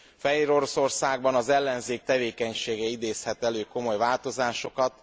Fehéroroszországban az ellenzék tevékenysége idézhet elő komoly változásokat.